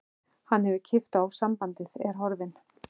Hann hefur klippt á sambandið, er horfinn.